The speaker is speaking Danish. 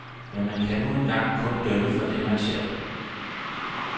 Men man kan nu en gang kun dømme for det, man ser.